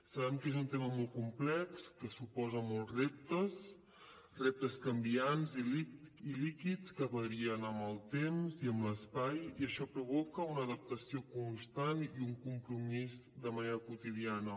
sabem que és un tema molt complex que suposa molts reptes reptes canviants i líquids que varien amb el temps i amb l’espai i això provoca una adaptació constant i un compromís de manera quotidiana